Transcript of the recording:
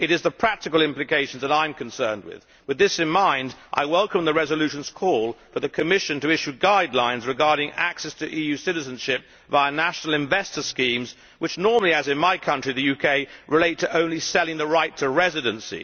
It is the practical implications that I am concerned with. With this in mind, I welcome the resolution's call for the Commission to issue guidelines regarding access to EU citizenship via national investor schemes, which normally, as in my country the UK, relate to only selling the right to residency.